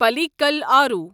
پالیکل آرو